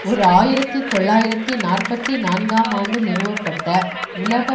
ஒரு ஆயிரத்தி தொள்ளாயிரத்தி நாற்பத்தி நான்காம் ஆண்டு நிறுவப்பட்ட உலக